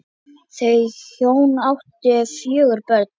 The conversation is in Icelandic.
Þau hjón áttu fjögur börn.